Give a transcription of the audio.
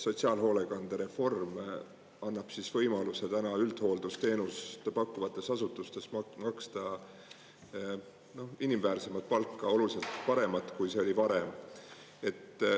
Sotsiaalhoolekandereform annab võimaluse täna üldhooldusteenust pakkuvates asutustes maksta inimväärset palka, oluliselt paremat, kui see oli varem.